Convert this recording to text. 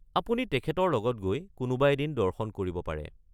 আপুনি তেখেতৰ লগত গৈ কোনোবা এদিন দৰ্শন কৰিব পাৰে।